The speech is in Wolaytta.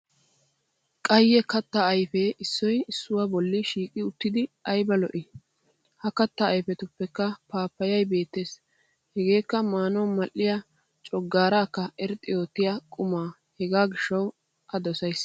Qayye kattaa ayfee issoy issuwa bolli shiiqi uttidi ayba lo'i. Ha kattaa ayfetuppekka paappayay bettes hageekka maanawu madhdhiya coggaaraakka irxxi oottiya quma hegaa gishshawu a dosayis.